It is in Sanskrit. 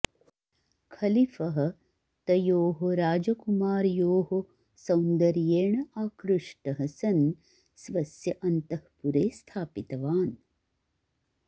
खलीफः तयोः राजकुमार्योः सौन्दर्येण आकृष्टः सन् स्वस्य अन्तःपुरे स्थापितवान्